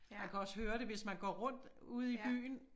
Man kan også høre det hvis man går rundt ude i byen